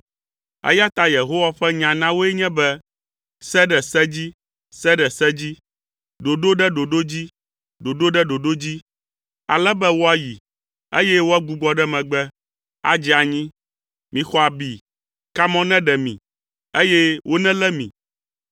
Eya ta Yehowa ƒe nya na woe nye be se ɖe se dzi, se ɖe se dzi. Ɖoɖo ɖe ɖoɖo dzi, ɖoɖo ɖe ɖoɖo dzi, ale be woayi, eye woagbugbɔ ɖe megbe, adze anyi. Mixɔ abi, kamɔ neɖe mi, eye wonelé mi,